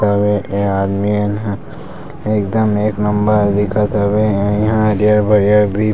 आऊ ये ये आदमी मन ह एकदम एक नंबर दीखत हवय ये इहाँ हरियर-हरियर भी--